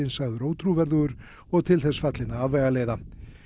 sagður ótrúverðugur og til þess fallinn að afvegaleiða